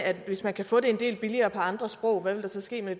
at hvis man kan få det en del billigere på andre sprog så sker der